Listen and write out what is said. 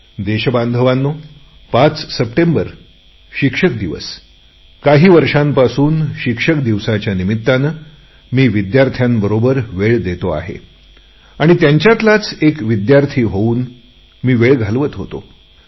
देशबांधवांनो पाच सप्टेंबर शिक्षक दिन काही वर्षांपासून शिक्षक दिनाच्या निमित्ताने मी विद्यार्थ्यांबरोबर वेळ देतो आहे आणि त्यांच्यातीलच एक विद्यार्थी होऊन मी वेळ घालवत होतो